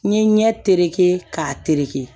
N ye ɲɛ terekɛ k'a tereke